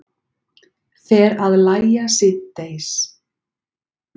Fer að lægja síðdegis